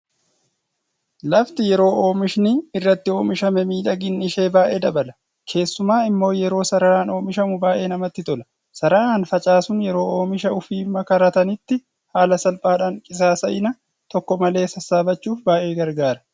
Lafti yeroo oomishni irratti omishame miidhaginni ishee baay'ee dabala. Keessumaa immoo yeroo sararaan oomishamu baay'ee namatti tola. Sararaan facaasuun yeroo omisha ofii makaratanitti haala salphaadhaan qisaasa'ina tokko malee sassaabbachuuf baay'ee garagaara.